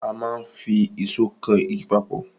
A máa n fi ìsó kan igi papọ̀